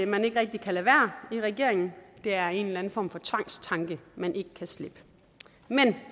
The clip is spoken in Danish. man ikke rigtig kan lade være i regeringen det er en eller anden form for tvangstanke man ikke kan slippe men